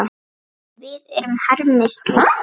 Við erum harmi slegin.